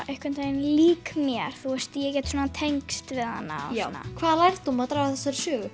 líka mér þú veist ég get svona tengt við hana og já hvaða lærdóm má draga af þessari sögu